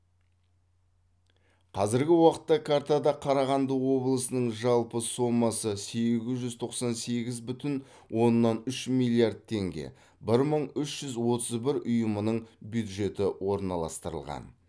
қазіргі уақытта картада қарағанды облысының жалпы сомасы сегіз жүз тоқсан сегіз бүтін оннан үш миллиард теңге бір мың үш жүз отыз бір ұйымының бюджеті орналастырылған